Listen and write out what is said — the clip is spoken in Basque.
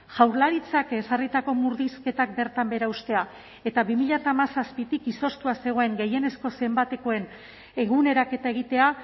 jaurlaritzak ezarritako murrizketak bertan behera uztea eta bi mila hamazazpitik izoztua zegoen gehienezko zenbatekoen eguneraketa egitea